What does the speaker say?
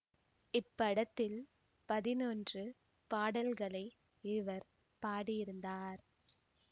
இப்படத்தில் பதினொன்று பாடல்களை இவர் பாடியிருந்தார்